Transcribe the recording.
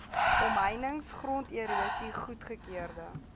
omheinings gronderosie goedgekeurde